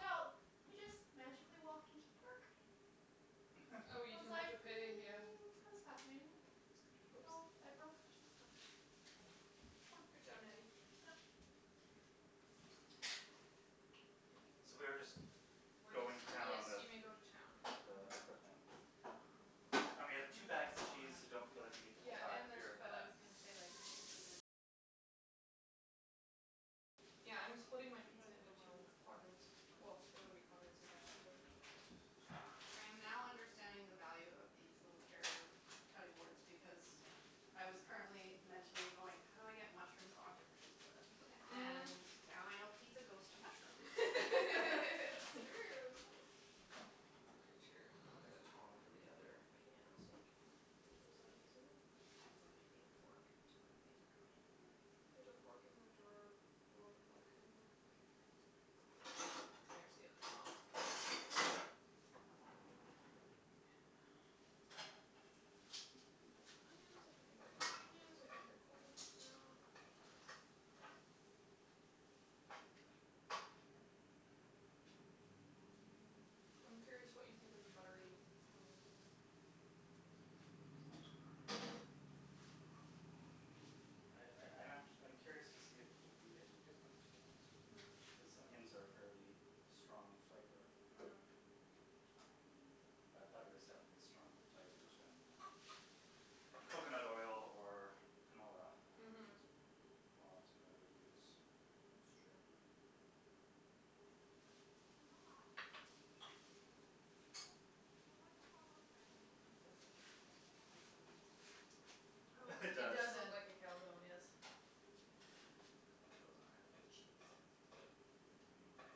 out, I just magically walked into the park. Oh, I you was didn't have like to pay, yeah. mm, that was fascinating. So, Whoops. I broke their system. Yes. It was fun. Good job, Natty. Yeah. So we are just We're going to just town Yes, on the you may go to town. Mm. I And we dunno have two what bags of I cheese, so want. don't feel like you need to Yeah, hold back and if there's you're feta. Yeah, I'm splitting my pizza into two quadrants. Well, they wouldn't be quadrants if there's two. I am now understanding the value of these little carrier cutting boards because I was currently mentally going how do I get mushrooms onto pizza? And now I know pizza goes to mushrooms. It's true. It's very true. I'll get the tong for the other pan so we can get those out easily. I am going to need a fork to move these around. There's a fork in the drawer below the black cutting board here. Okay. There's the other tong. And there's onions if anybody wants onions. I think they're cold enough now. I'm curious what you think of the buttery onions, Matthew. I I I'm actu- I'm curious to see if it will be any different, to be honest. Mhm. Cuz onions are a fairly strong flavor. Mm. Um, but butter is definitely a stronger flavor than coconut oil or canola. Which Mhm. is more often what I would use. That''s true. This looks like it's gonna be a calzone. Oh It like It does. you does look said like a calzone, yes. Put those on after cheese. Mmm.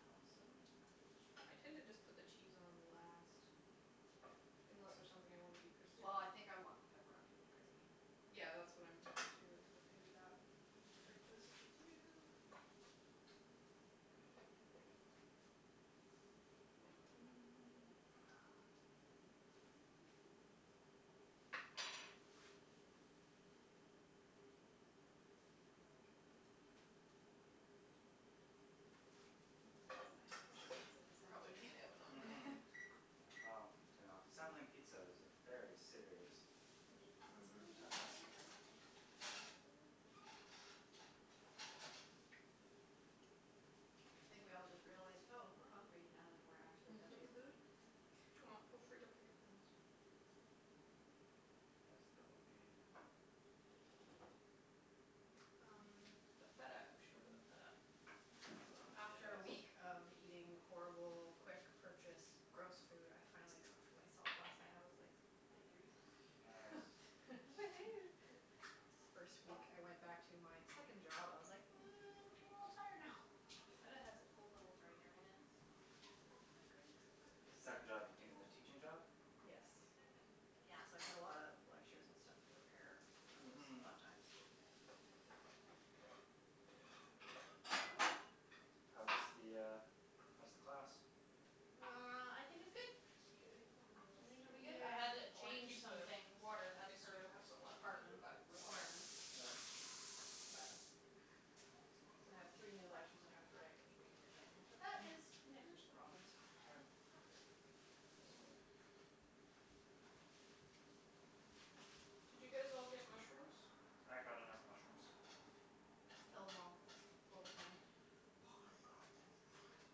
Calzone. I tend to just put the cheese on last. Unless there's something I wanna be crispy. Well, I think I want the pepperoni to be crispy. Yeah, that's what I'm thinking, too, is that maybe that I will trade places with you. The silence We of should pizza probably turn assembly. the oven on now. Mhm. Yeah, well, you know, assembling pizza is a very serious Mhm. task. Thank you. I think we all just realized, "Oh, we're hungry now that we're actually touching food." Well, feel free to pick up things. Yes, there will be. Um, the feta We should open the feta. Wow. After a week Yes. of eating horrible quick purchased gross food, I finally cooked for myself last night. I was like victory. Nice. Woohoo. It's the first week I went back to my second job. I was like, "Mm, I'm a little tired now." The feta has a cool little drainer in it, so Do I want green pepper? The I second job dunno being the teaching job? what Yes. Yes. Yeah, so I had a lot of lectures and stuff to prepare. That was Mhm. fun times. How's the uh how's the class? There we go. Well, I think it's good. I think it'll be good. Cute, it came with a little strainer? I Yeah, had to I want to change keep the some things water. In of case we do her have some left we can put it department back in the water. requirements. Right. But so I have three new lectures I have to write, which will be entertaining, but that is next week's problems. All right. Not this week. Did you guys all get mushrooms? I got enough mushrooms. Mkay. Kill them all, is what we're saying. Oh my god.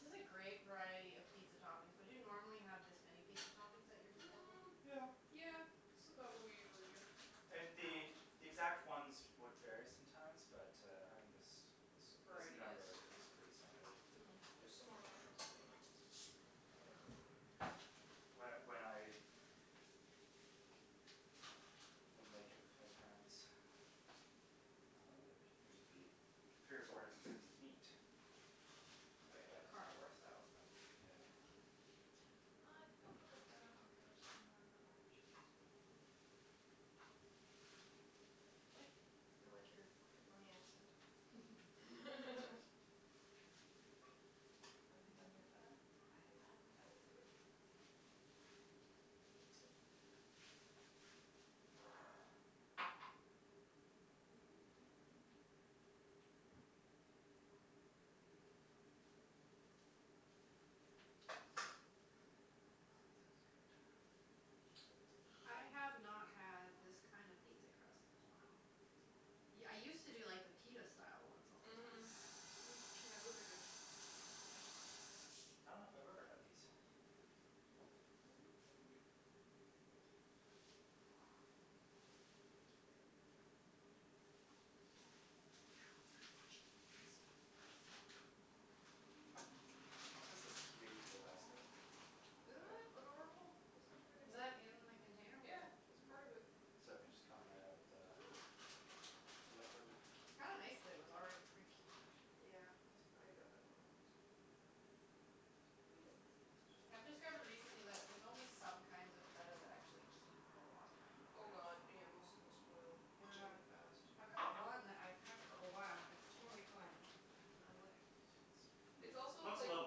This is a great variety of pizza toppings. Would you normally have this many pizza toppings at your disposal? Mm, Yeah. yeah. This is about what we usually do. And the Wow. the exact ones would vary sometimes but, uh, having this This this variety number is is pretty standard. Mm. There's some more mushrooms Um if anyone wants extra. When when I would make it with my parents, uh, there'd usually be three or four different types of meat. Oh, yeah, that But, uh carnivore style stuff. Yeah. Cheese? Cheese? Uh, I think I'll put the feta on it first and then the other cheese. K, we'll get out of the way. I like your pepperoni accent. Have you done your feta? I have done the feta. Okay. This is good. I have not had this kind of pizza crust in a while. Yeah, I used to do like the pita style ones all the time. Mhm. Yeah, those are good. I dunno if I've ever had these. Okay, just Oh, this is cute the little basket with the Isn't feta. that adorable? It's such a good Was idea. that in the container with Yeah, the it was part of it. So it can just come right out of the the liquid. Kinda nice that it was already pre-cubed. Yeah, als- I got that one on purpose. We have enough I've things to do. discovered recently that there's only some kinds of feta that actually keep a long time in the Oh, fridge. god, yeah. Most of them spoil Yeah. really fast. I've got one that I've had for a while and it's totally fine. I'm like It's also Looks a like little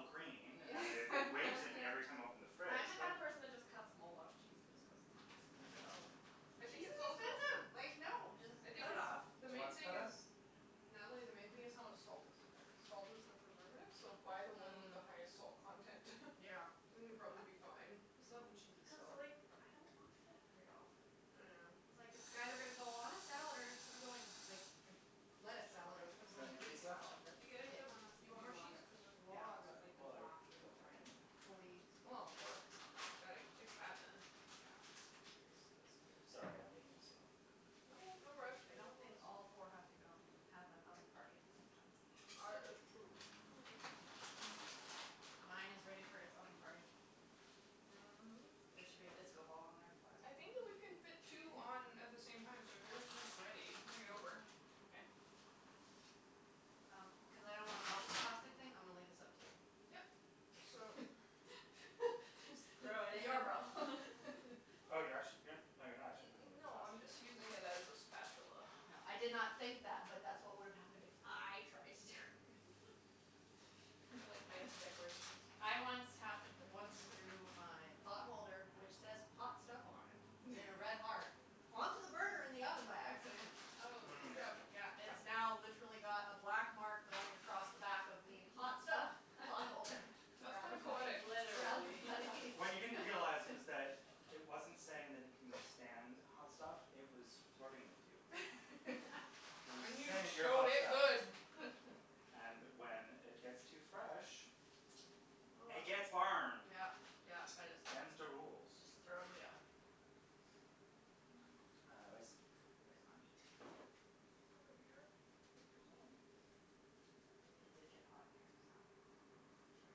green and it it's waves at me every time I open the fridge I'm the but kind of person that just cuts mold off cheese and just goes, "It's fine." Yeah. I think Cheese it's is also expensive, like, no, just I think cut it it's, off. Do the you main want some thing feta? is No. Natalie, the main thing this is how much salt is in there cuz salt is the preservative, so buy the one with Mm. the highest salt content. Yeah. It's And a you'll good probably be point. fine. It's not the cheese Mm. Cuz, itself. like, I don't want feta very often. Yeah. It's like, it's either gonna go on a salad or it's gonna go in like a lettuce salad or it's gonna Is go there in a any Greek cheese left? salad, that's You gotta get it. the one that's Do you in want the more cheese? water, Cuz there's Yeah. lots. where it's like the Well, I block in don't the have brine any. stuff. Fully Well, gotta fix that, then. Yeah, cherries. Sorry, I'm being a little slow. No, no rush, we I have don't think lots. all four have to go in and have an oven party at the same time. Ar- it's true. Mine is ready for its oven party. There should be a disco ball in there for it. I think that we can fit two on at the same time, so if yours is ready, bring it over. Okay. Um, cuz I don't wanna melt this plastic thing, I'm gonna leave this up to you. Yep. So Your problem. Oh, you're actu- you're No, you're not actually putting the No, I'm plastic in, just using okay. it as a spatula. No, I did not think that, but that's what would have happened if I tried to do it. I like to make decorations. I once hap- once threw my pot holder, which says "hot stuff" on it in a red heart, onto the burner in the oven by accident. Good Mm. job. Yeah, it's now literally got a black mark going across the back of the "hot stuff" pot holder. That's kind Rather of funny. poetic. Rather Literally. funny. What you didn't realize was that it wasn't saying that it can withstand hot stuff; it was flirting with you. It was And just you saying you're showed hot it stuff. good. And when it gets too fresh, it gets burned. Yeah, yeah, I just Them's the rules. Just throw in the oven. Uh, where's, where's my meat? It's over here with your sweetie. It did get hot in here, so short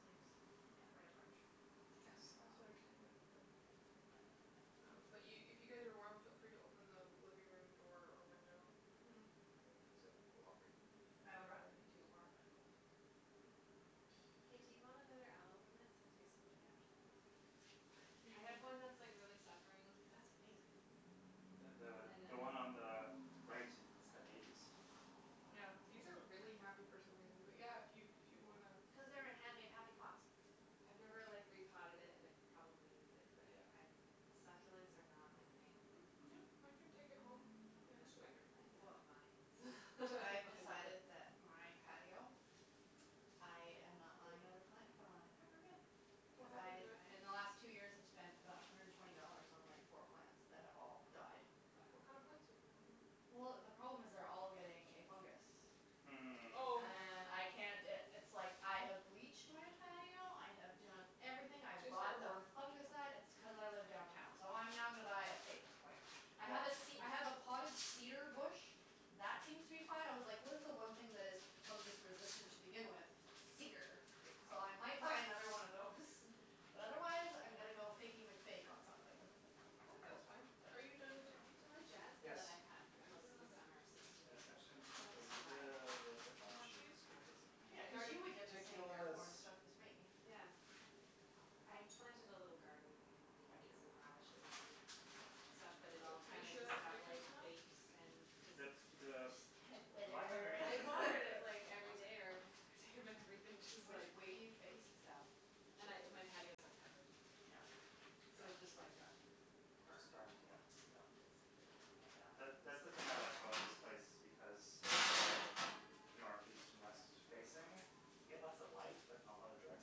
sleeves, Yeah. the right approach. Yes, Good call. also you're standing by the window. Um, but you, if you guys are warm, feel free to open the living room door or window cuz it will cool off very quickly in Hm, I would here. rather be too warm than cold. Mhm. Hey, do you want another aloe plant since yours seem to be actually healthy? What do I you need? have one that's, like, really suffering. That's amazing. The the And I the one on the right has had babies. Yeah, In Wow. these are fact. really happy for some reason, but yeah, if you, if you wanna Cuz they're in hand made happy pots. I've never, That's true. like, repotted it and it probably needs it. But Yeah. I, succulents are not my thing. Mm, yeah, I can take it home Give me the next week. spider plants and the vines. I've I'm fine with decided it. that my patio, I am not buying another plant to put on it ever again. What happened Because to it? In the they last two die? years I've spent about a hundred and twenty dollars on like four plants that have all died. Wow. What kind of plants are you putting in there? Well, the problem is they're all getting a fungus. Mm. Oh. Oh. And I can't i- it's, like, I have bleached my patio, I have done everything. I have It's bought the airborne. fungicide. It's t- cuz I live downtown, so I'm now gonna buy a fake plant. I Yeah. have a ce- I have a Hm. potted cedar bush that seems to be fine. I was like what is the one thing that is fungus-resistant to begin with? Cedar. Good So call. I might buy another one of those. But otherwise I'm gonna Yeah. go Fakey McFake on something. I think that's fine. Are you done with your pizza, The Matthew? jasmine that Yes. I've had Can I put most in the of the oven? summer seems to be Yes, not actually, so I'm just gonna put a bad, you little know. bit more More cheese? cheese because I'm Yeah, going cuz to be you would get the same ridiculous. airborne stuff as me. Yeah. I planted a little garden. I had Thank you. beans and radishes and stuff, but I'm it good. all Are you kinda sure just that's got like ridiculous enough? baked and just The, the line Withered. underneath I it is really watered it, thick. like, every day or Okay. every other day, but everything just, like Which way do you face? South. And I, my patio is uncovered. Yeah. So it just like got Just burned. burned, yeah. Yeah, Yeah. basically. Yeah. That, Yeah. that's the thing I like about this place because it's all north, east and west facing. We get lots of light, but not a lot of direct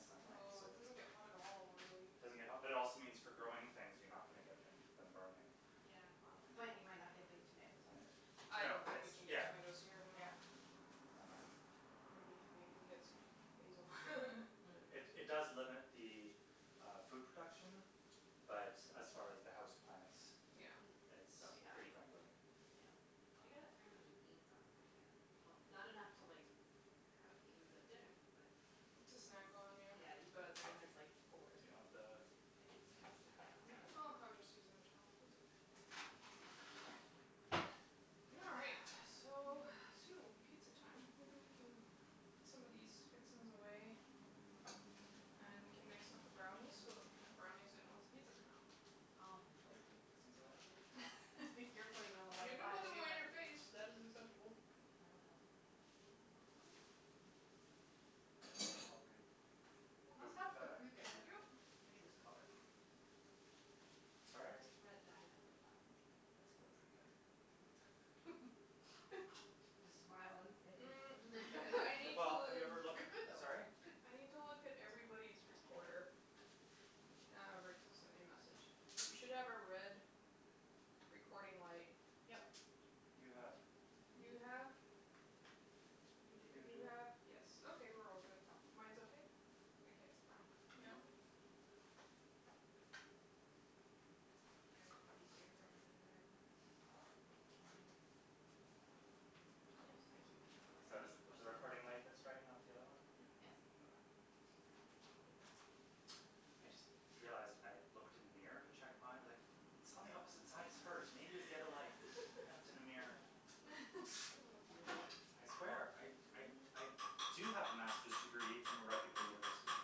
sunlight, No, so it it doesn't get hot at all, really. doesn't get hot, but it also means for growing things you're not gonna get them them burning. Yeah. Um But you might not get big tomatoes, either. I No, don't think it's, we can get yeah. tomatoes here anyway. Yeah. Yeah. Um I'm gonna be happy if we get some basil. It, it Hm. does limit the uh food production, but as far as the house plants Yeah. Hm. it's They'll be pretty happy. friendly. Yeah. Um I got a fair amount of beans off mine, I had Well, not enough to like have beans at dinner, but To it snack on, was yeah. Yeah, you go out there and there's, like, four Do you green want the beans, just, like, snap them off and eat Oh, them. I was just using the towel, it's okay. All right. So, soon it will be pizza time. Maybe we can put some of these fixings away and we can mix up the brownies so that we can put the brownies in once the pizzas come out. Oh. Oh, we're putting fixings away? I think you're putting them away, You can buy put a them new away in one. your face. That is acceptable. I will help. Are we It good must with the have feta? paprika in Thank you. it to be this color. Sorry? Or Red Dye Number Five. It's paprika. Just smile and say it's Mm, paprika. I need Well, have you ever to looked, It could though. sorry? It's good. I need to look at everybody's recorder. Ah, Rick sent me a message. You should have a red recording light. Yep. You have. You You do? have You You You do. do? have, yes, okay, we're all good. Mine's okay? I can't see mine. Yeah. Okay. Are All everybody's right. earphones in the right way? Mm, mine. No they just I keep feeling like So I need to it's push the them in more. recording light that's right, not the other one? Yeah. Yes. Okay. I just realized I looked in the mirror to check my, like It's on the opposite side, it's hers, maybe it was the other light. I looked in the mirror. Oh dear. I swear I, I, I do have a master's degree from a reputable university.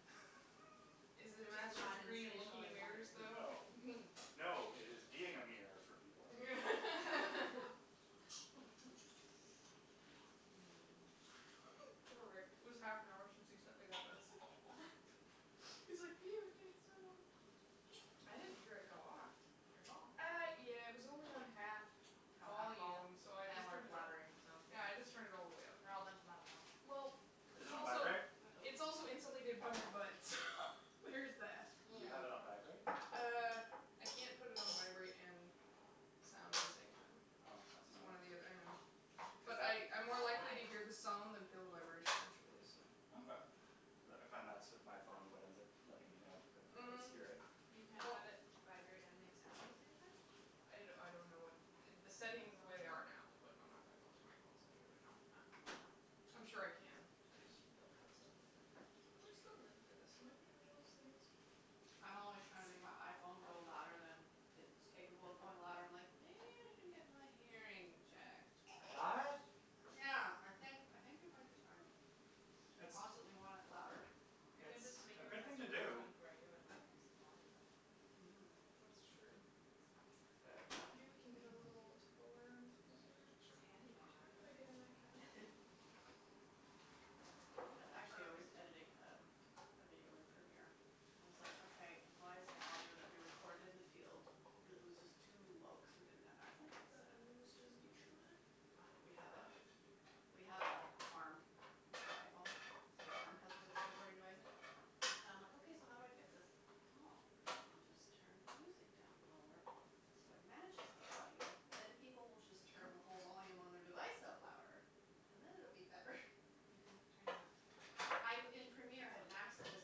Is it a Just master's not in degree in spacial looking in mirrors, engineering. though? No. No, it is being a mirror for people. Poor Rick. It was half an hour since he sent me that message. He's like, I didn't hear it go off, your phone. Uh, yeah, it was only on half Have half vol? volume, so I And just we're turned it up. blabbering, so Yeah, I just turned it all the way up. We're all a bunch of loud mouths. Yep. Well Is It's it on also vibrate? It's also insulated by my butt, so there is that. Do you have it on vibrate? Mm. Uh, I can't put it on vibrate and sound at the same time. Oh, that's It's one annoying. or the othe- I know. Cuz But that I, I'm more likely to hear the sound than feel the vibration, actually, so Okay. Cuz I found that's with my phone what ends up letting me know because I can't always Mhm. hear it. You can't Well have it vibrate and make sound at the same time? I d- I don't know what, the settings the way they are now, but I'm not gonna go through my phone settings right now. Oh. I'm sure I can, I just don't have it set up like that. Where's the lid for this? It might be under those things. I'm always trying to make my iPhone go louder than it's capable of going loud. I'm like, "Maybe I should get my hearing checked, What? perhaps." Yeah. I think I think it might be time. I It's constantly want it louder. I can It's just make a a good test thing to and ring do. tone for you and like increase the volume of it. That's Mm. true. That's a Maybe we can get good a little idea. Tupperware Sure. It's handy Do you knowing mind if I get in that cabinet? Thank you. I, actually I was Perfect. editing um a video in Premiere and I was like, "Okay, why is the audio that we recorded in the field real- " it was just too low cuz we didn't have Can actual you put mikes the set up, it onions was just and using mushroom the in there? We have a, we have a arm for iPhone, so the arm has the recording device in it and I'm like, "Okay, so how do I fix this?" "Oh, I'll just turn the music down lower so it matches the audio, then people will just turn the whole volume on their device up louder and then it'll be better." You can turn the I b- in Premiere, I had maxed it as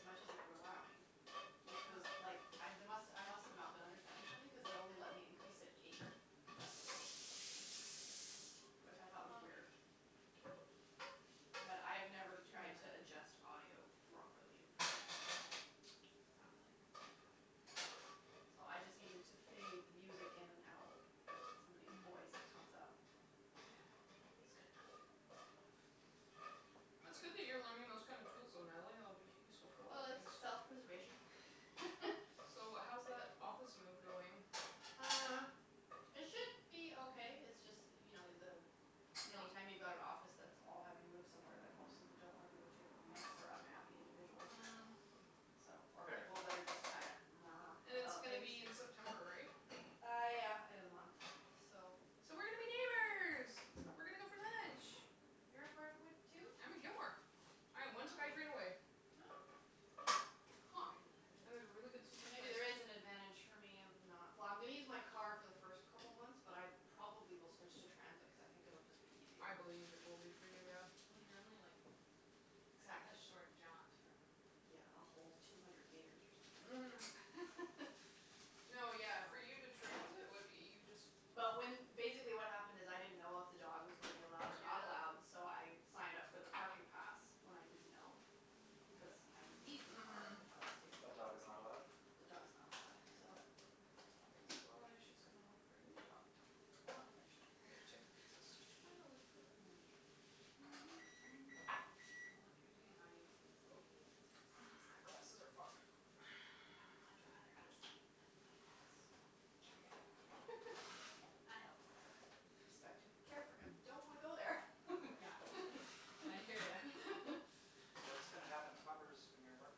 much as it would allow me, which was, like, I d- must, I must have not been understanding something cuz it only let me increase it Wow. eight decibels, which I thought was weird. Well. But I've never tried to adjust audio Yeah. properly in Premiere, so It's not really meant for that. No, so I just needed to fade the music in and out and somebody's Mm. voice comes up. Yeah. It's good enough, it's good enough. It's good that you're learning those kind of tools, though, Natalie. It'll be useful for a lot of Well, it's things. self-preservation. So, how's that office move going? Uh, it should be okay. It's just that you know, the, any No. time you've got an office that's all having to move somewhere that most of them don't wanna move to, it makes for unhappy individuals. Mm So, or Fair. people that are just kind And of it's about gonna things. be in September, right? Uh, yeah, end of the month, so So we're gonna be neighbors! We're gonna go for lunch. You're at Brentwood, too? I'm at Gilmore. I am one SkyTrain away. Oh. Huh. And there's a really good So sushi maybe place. there is an advantage for me of not Well, I'm gonna use my car for the first couple months, but I probably will switch to transit cuz I think it'll just be I easier. believe it will be for you, yeah. Well, you're only, like, a Exactly. short jaunt from Yeah, a whole two hundred meters or something. Mhm. No, yeah, for you to transit, what, you just But when, basically what happened is, I didn't know if the dog was gonna be allowed or not Yeah. allowed, so I signed up for the parking pass when I didn't know, cuz I would need the car Mhm. if I was taking But the dog. dog is not allowed? The dog's not allowed, so That's why she's gonna look for a new job. Well, eventually. I gotta check the pizzas. Did you find the lid for that? Well, if you're doing audio things and Nope. you need tips, My just glasses are fogged up. I would much rather ask you than my ex. Yeah. I help. Respect him, care for him, don't want to go there. Yeah. And I hear ya. What's gonna happen to Puppers when you're at work?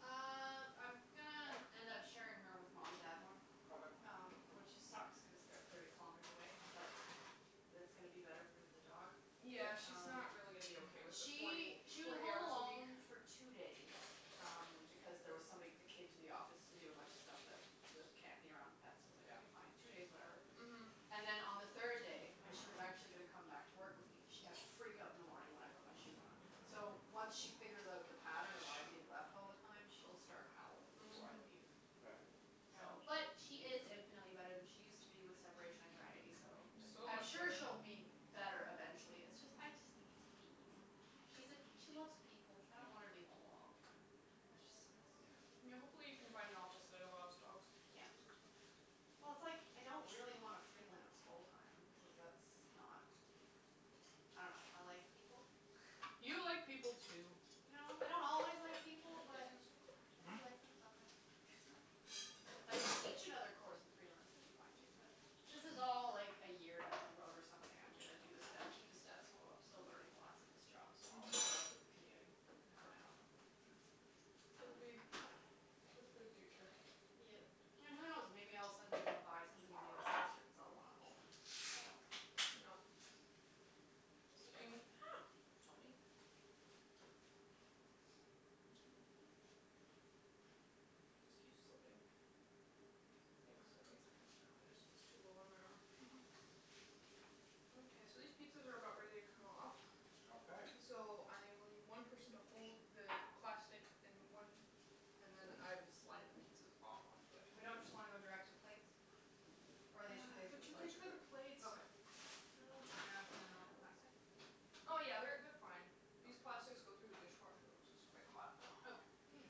Uh, I'm gonna end up sharing her with mom and dad more. Okay. Um, which it sucks cuz they're thirty kilometers away, but that's gonna be better for the dog. Yeah. Yeah, she's Um, not really gonna be okay with the forty she, w- she was forty home hours a week. alone for two days um because there was somebody that came to the office to do a bunch of stuff that that can't be around pets, so I was like, Yeah. "Okay, fine, two days, whatever." Mhm. And then on the third day, when she was actually gonna come back to work with me, she had a freakout in the morning when I put my shoes on. So, once she figures out the pattern of "I'm being left all the time", she'll start howling before I Mhm. leave. Right. So, Yeah. but she is infinitely better than she used to be with separation anxiety, so It's so I'm much sure better. she'll be better eventually. It's just, I just think it's mean. She's a, she loves people. I don't want her Yeah. to be home alone all the time. That just sucks. Yeah. Yeah, hopefully you can find an office that allows dogs. Yeah. Well, it's, like, I don't really wanna freelance full time cuz that's not, I dunno, I like people. You like people, too. You know? I don't always like Can you people, put these but in the sink? I do Hmm? like them sometimes. Yeah. But if I could teach another course and freelance, that would be fine, too, but this is all like a year down the road or something I'm gonna do the sta- keep the status quo. I'm still learning lots in this job, so I'll Mhm. put up with the commuting for now. It'll be good for the future. Yep. And who knows? Maybe I'll suddenly wanna buy something in New Westminster because I'll wanna own. I don't know. Yep. This I don't thing know. Help me. It just keeps slipping. Thanks, I think it's high enough now. It just was too low on my arm. Mhm. Mkay, so these pizzas are about ready to come off. Okay. So I will need one person to hold the plastic and one, and then I will slide the pizzas off onto it. We don't just wanna go direct to plates? Or are they too big for They're the They're too big plates? too for the big. plates. Okay. Oh, crap. They're not gonna melt the plastic? Oh, yeah, they're they're fine. These plastics go through the dishwasher which is quite hot. Okay. Hm.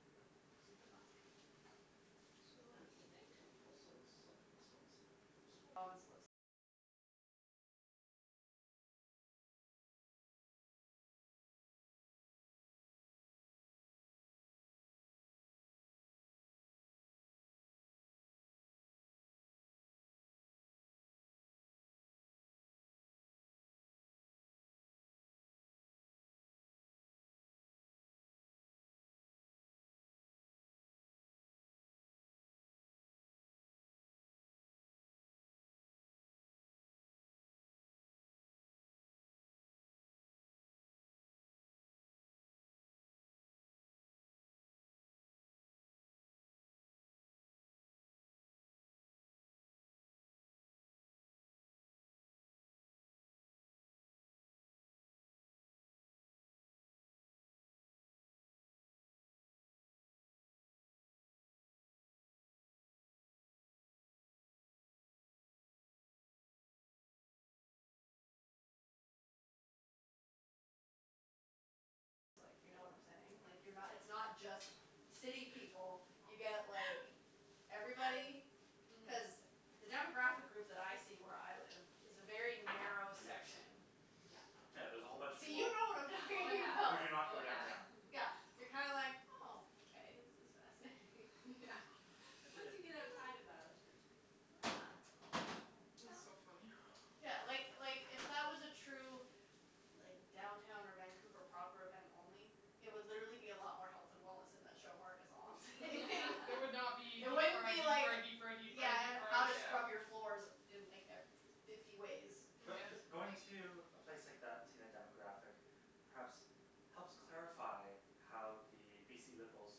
Yep. Super plastic. So, I think this is, this one's done. This one's yours. Yes. So a little I bit briefly underneath the walked rack. through the I'm just selling trying not part to burn my in the hand. p I n know. e. Show mart, yeah. I usually, I usually ma- take the effort to go down to literally everything. Cuz you can be Yeah. surprised. There are some Yeah. non-cheesebally things there. There were some really nice olive wood spoons which I I looked at considered. those, I looked at those. I was Yeah. like, "Cool, but do I wanna be carrying around a couple of spoons all night while I'm trying to take Yeah, I looked at pictures some of the jams and stuff, too, and I'm like, "I don't wanna carry like, Yeah. no." There were people buying like I'm gonna be putting pizzas behind The, you in a okay moment. Okay, those need a few more Buying minutes. like Vitamix, Or not. like big appliances. Yeah, Like, it's why like would what are you go to the p n e for that? you Yeah, Mm. Yeah. yeah. I It don't get makes it. no sense. I think the flaw in your line of questioning is implying the decision-making was based on sense. True. The the p n e is a fascinating place to go for people-watching because all of a sudden you're like, woah, this is, like, what the whole lower half of the province looks like, if you know what I'm saying. Like, you're not, it's not just city people. You get like everybody. Mhm. Cuz the demographic group that I see where I live is a very narrow Yes. section. Yeah. Yeah, there's a whole bunch of So you people know what I'm Oh talking who about. do yeah, not go oh yeah. downtown. Yeah, you're kind of like, oh, okay, this is fascinating. Yeah. Yeah. It, Once you get it outside of that, that's like, huh. Yeah, Yeah. That's so yeah. funny. Yeah, like, like, if that was a true like downtown or Vancouver proper event only, it would literally be a lot more health and wellness in that show mart is all I'm saying. It would not be deep It wouldn't fried, be deep like fried, deep fried, deep Yeah, fried, deep and how fried, to yeah. scrub your floors in like e- fifty ways. Mm yeah. But b- going to a place like that and seeing a demographic perhaps helps clarify how the BC Liberals